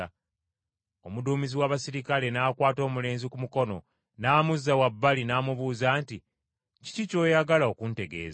Omuduumizi w’abaserikale n’akwata omulenzi ku mukono n’amuzza wabbali n’amubuuza nti, “Kiki ky’oyagala okuntegeeza?”